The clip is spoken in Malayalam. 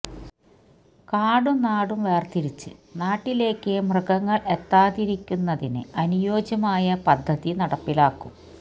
കാടും നാടും വേര്തിരിച്ച് നാട്ടിലേക്ക് മൃഗങ്ങള് എത്താതിരിക്കുന്നതിന് അനുയോജ്യമായ പദ്ധതി നടപ്പിലാക്കും